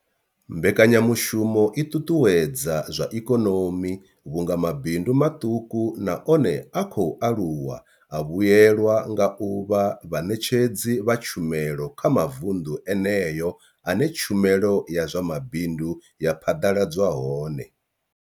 Mbekanyamushumo i ṱuṱuwedza zwa ikonomi vhunga mabindu maṱuku na one a khou aluwa a vhuelwa nga u vha vhaṋetshedzi vha tshumelo kha mavundu eneyo ane tshumelo ya zwa mabindu ya phaḓaladzwa hone.